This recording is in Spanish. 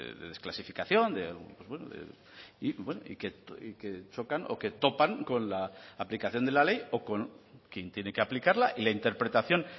de desclasificación y que chocan o que topan con la aplicación de la ley o con quien tiene que aplicarla y la interpretación